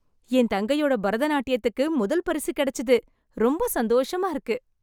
என் தங்கையோட பரதநாட்டியத்துக்கு முதல் பரிசு கெடச்சுது, ரொம்ப சந்தோஷமா இருக்கு.